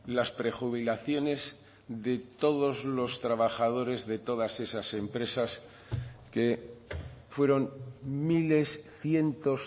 las prejubilaciones de todos los trabajadores de todas esas empresas que fueron miles cientos